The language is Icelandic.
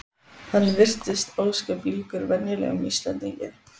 Hann virtist ósköp líkur venjulegum Íslendingi.